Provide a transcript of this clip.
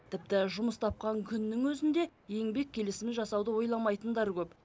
тіпті жұмыс тапқан күннің өзінде еңбек келісімін жасауды ойламайтындар көп